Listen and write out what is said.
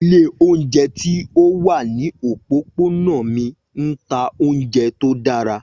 Ilé oúnjẹ ti o wa ni opopona mi n ta ounjẹ to dara.